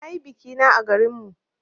Na yi biki na à garin mu.